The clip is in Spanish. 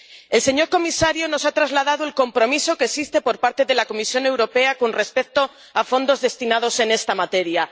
El señor comisario nos ha trasladado el compromiso que existe por parte de la Comisión Europea con respecto a fondos destinados a esta materia.